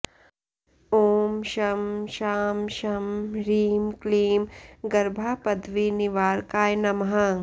ॐ शं शां षं ह्रीं क्लीं गर्भापद्विनिवारकाय नमः